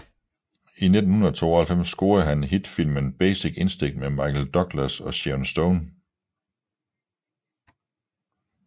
I 1992 scorede han hit filmen Basic Instinct med Michael Douglas og Sharon Stone